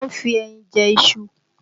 Wọ́n ń fi ẹyin jẹ iṣu